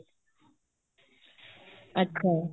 ਅੱਛਾ